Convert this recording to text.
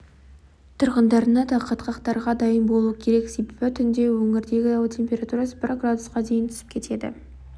тұрғындарына да қатқақтарға дайын болу керек себебі түнде өңірдегі ауа температурасы бір градусқа дейін түсіп кетеді